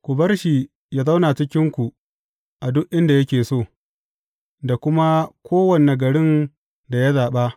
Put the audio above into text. Ku bar shi yă zauna a cikinku a duk inda yake so, da kuma a kowane garin da ya zaɓa.